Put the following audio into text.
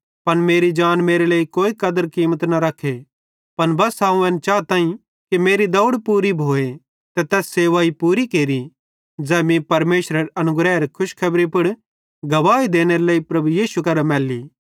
पन मेरी जान मेरे लेइ कोई कदर कीमत न रख्खे त बस्सा अवं एन चाताईं कि मेरी दौड़ पूरी भोए ते तैस सेवाई पूरी केरि ज़ै मीं परमेशरेरे अनुग्रहेरे खुशखबरी पुड़ गवाही देनेरे लेइ प्रभु यीशु करां मैल्ली